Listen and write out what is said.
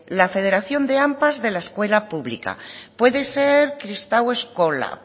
la federación de ampa de la escuela pública puede ser kristau eskola